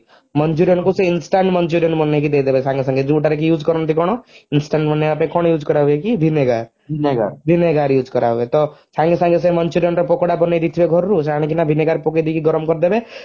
manchurian କୁ ସେ instant manchurian ବନେଇକି ଦେଇଦେବେ ସାଙ୍ଗେ ସାଙ୍ଗେ ଯଉଟାରେ କି use କରନ୍ତି କଣ instant ବନେଇବା ପାଇଁ କଣ use କରାହୁଏ କି vinegar vinegar use କରା ହୁଏ ତ ସାଙ୍ଗେ ସାଙ୍ଗେ ସେ manchurian ର ପକୋଡା ବନେଇଦେଇଥିବେ ଘରୁ ସେ ଅନିକିନା vinegar ପକେଇଦେଇକି ଗରମ କରିଦେବେ